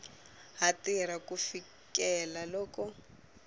ha tirha ku fikela loko